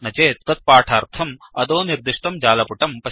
न चेत् तत्पाठार्थम् अधोनिर्दिष्टं जालपुटं पश्यन्तु